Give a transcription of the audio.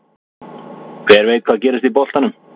Hver veit hvað gerist í boltanum?